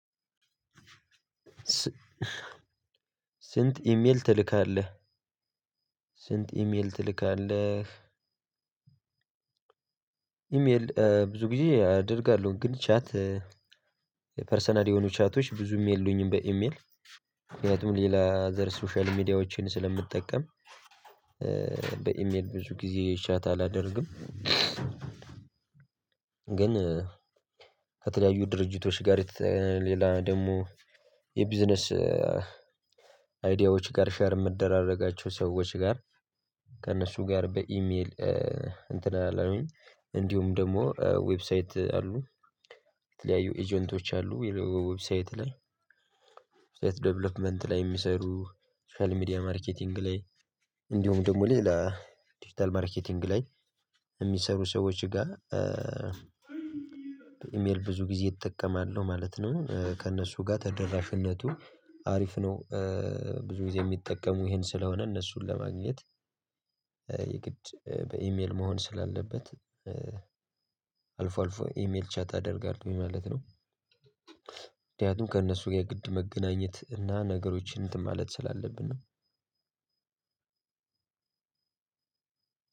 ስንት ኢሜል ትልካለህ? ስንት ኢሜል ትልካለህ? ኢሜል ብዙ ጊዜ አደርጋለሁ። ግን ቻት የፐርሰናል የሆኑ ቻቶች ብዙም የሉኝም። በኢሜል ምክንያቱም ሌላ ዘር ሶሻል ሚዲያዎችን ስለምጠቀም። በኢሜል ብዙ ጊዜ ቻት አላደርግም። ግን ከተለያዩ ድርጅቶች ጋር ሌላ ደግሞ የቢዝነስ አይዲያዎች ጋር ሼር የምደራረጋቸው ሰዎች ጋር ከእነሱ ጋር በኢሜል እንትን እላለሁኝ። እንዲሁም ደግሞ ዌብሳይት አሉ። የተለያዩ ኤጀንቶች አሉ ዌብሳይት ላይ ዌብሳይት ዴቨሎፕመንት ላይ የሚሰሩ ሶሻል ሚዲያ ማርኬቲንግ ላይ እንዲሁም ደግሞ ሌላ ዲጂታል ማርኬቲንግ ላይ የሚሰሩ ሰዎች ጋር። ኢሜል ብዙ ጊዜ እጠቀማለሁ ማለት ነው። ከእነሱ ጋር ተደራሽነቱ አሪፍ ነው። ብዙ ጊዜ የሚጠቀሙ ይሄን ስለሆነ እነሱን ለማግኘት የግድ በኢሜል መሆን ስላለበት። አልፎ አልፎ ኢሜል ቻት አደርጋለሁኝ ማለት ነው። ምክንያቱም ከነሱ ጋር የግድ መገናኘት እና ነገሮችን እንትን ማለት ስላለብን ነው።